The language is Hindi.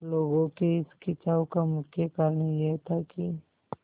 लोगों के इस खिंचाव का मुख्य कारण यह था कि